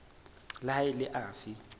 le ha e le afe